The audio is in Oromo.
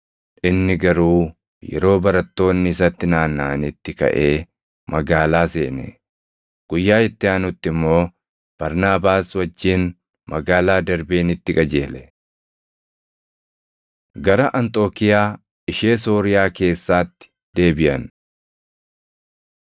Inni garuu yeroo barattoonni isatti naannaʼanitti kaʼee magaalaa seene; guyyaa itti aanutti immoo Barnaabaas wajjin magaalaa Darbeenitti qajeele. Gara Anxookiiyaa Ishee Sooriyaa Keessaatti Deebiʼan